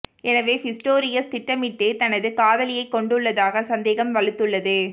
எனவே பிஸ்டோரியஸ் திட்டமிட்டே தனது காதலியைக் கொன்றுள்ளதாக சந்தேகம் வலுத்துள்ளது